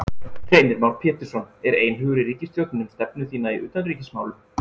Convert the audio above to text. Heimir Már Pétursson: Er einhugur í ríkisstjórninni um stefnu þína í utanríkismálum?